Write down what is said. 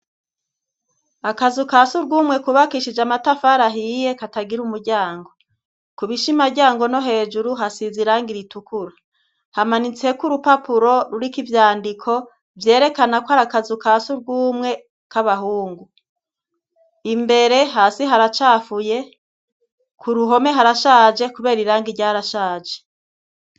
Akazu kasugumwe kubakishije amatafari ahiye katagira umuryango ku bishimaryango no hejuru hasiza irangi ritukura, hamanitseko urupapuro rurika ivyandiko vyerekanako ari akazu kasugumwe k'abahungu, imbere hasi haracafuye ku ruhome harashaje kubera irangi ryarashaje.